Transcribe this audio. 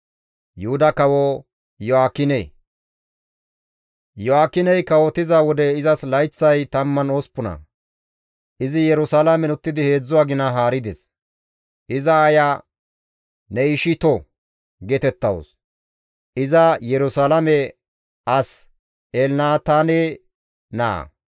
Iyo7aakiney kawotiza wode izas layththay 18; izi Yerusalaamen uttidi 3 agina haarides; iza aaya Nehishitto geetettawus; iza Yerusalaame as Elnataane naa.